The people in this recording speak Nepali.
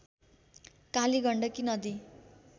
कालीगण्डकी नदी